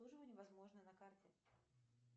обслуживание возможное на карте